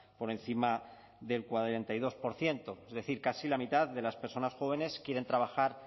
por encima del cuarenta y dos por ciento es decir casi la mitad de las personas jóvenes quieren trabajar